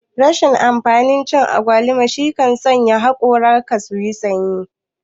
Rashin amfanin cin agwaluma shine zai sa hakoran ka suyi sanyi